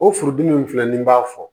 O furudimi in filɛ nin b'a fɔ